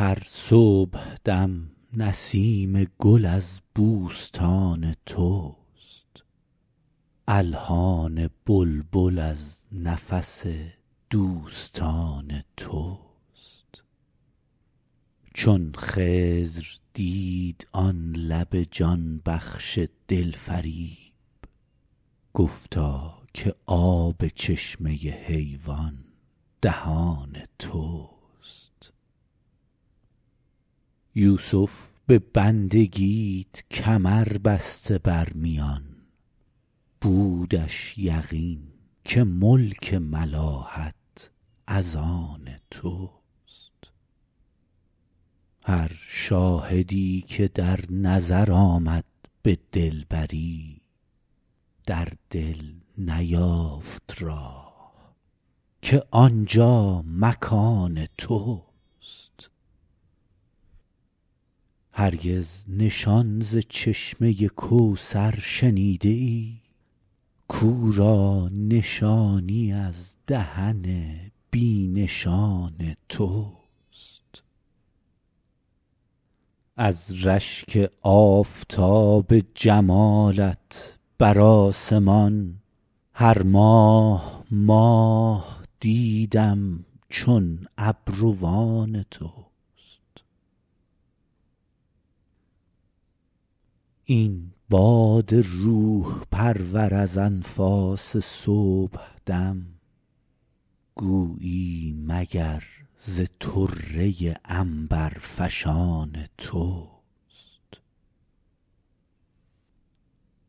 هر صبحدم نسیم گل از بوستان توست الحان بلبل از نفس دوستان توست چون خضر دید آن لب جان بخش دلفریب گفتا که آب چشمه حیوان دهان توست یوسف به بندگیت کمر بسته بر میان بودش یقین که ملک ملاحت از آن توست هر شاهدی که در نظر آمد به دلبری در دل نیافت راه که آنجا مکان توست هرگز نشان ز چشمه کوثر شنیده ای کاو را نشانی از دهن بی نشان توست از رشک آفتاب جمالت بر آسمان هر ماه ماه دیدم چون ابروان توست این باد روح پرور از انفاس صبحدم گویی مگر ز طره عنبرفشان توست